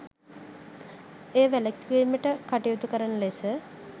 එය වැළකීමට කටයුතුකරන ලෙස